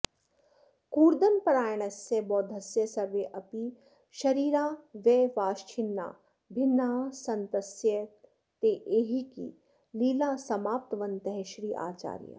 कूर्दनपरायणस्य बौद्धस्य सर्वेऽपि शरीरावयवाश्छिन्ना भिन्नाः सन्तस्तस्यैहिकी लीला समाप्तवन्तः श्रीआचार्याः